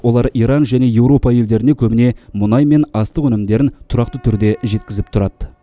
олар иран және еуропа елдеріне көбіне мұнай мен астық өнімдерін тұрақты түрде жеткізіп тұрады